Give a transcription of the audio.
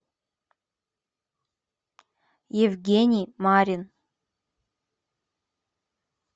евгений марин